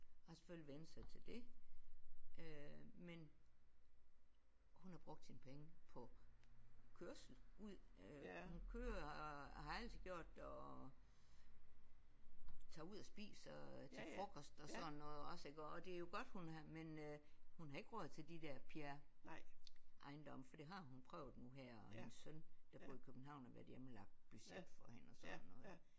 Har selvfølgelig vænnet sig til det øh men hun har brugt sine penge på kørsel ud øh hun kører og har altid gjort det og tager ud og spiser til frokost og sådan noget også iggå og det er jo godt hun har men øh hun har ikke råd til de der Pierre Ejendomme for det har hun prøvet nu her og hendes søn der bor i København har været hjemme og lagt budget for hende og sådan noget